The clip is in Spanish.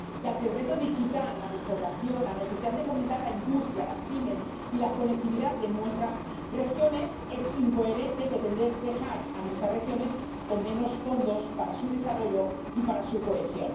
Y, ante el reto digital, la despoblación, la necesidad de fomentar la industria, las pymes y la conectividad de nuestras regiones, es incoherente pretender dejar a nuestras regiones con menos fondos para su desarrollo y para su cohesión.